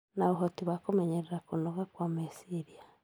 na ũhoti wa kũmenyerera kũnoga kwa meciria.